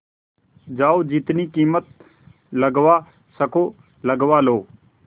जाओ जितनी कीमत लगवा सको लगवा लो